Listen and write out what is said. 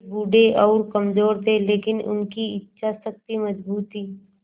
वे बूढ़े और कमज़ोर थे लेकिन उनकी इच्छा शक्ति मज़बूत थी